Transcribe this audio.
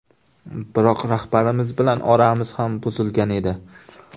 Biroq rahbarimiz bilan oramiz ham buzilgan edi.